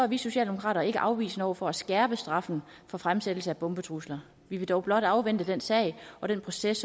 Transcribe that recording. vi socialdemokrater ikke afvisende over for at skærpe straffen for fremsættelse af bombetrusler vi vil dog blot afvente den sag og den proces